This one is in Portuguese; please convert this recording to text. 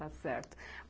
Está certo.